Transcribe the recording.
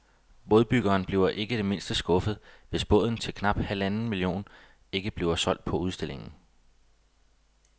Bådbyggeren bliver ikke det mindste skuffet, hvis båden til knap halvanden million kroner ikke bliver solgt på udstillingen.